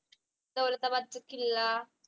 Daulatabad Killa